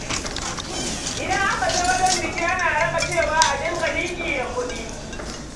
Idan aka je wajen biki ana raƙashewa a dinga liƙi da kuɗi.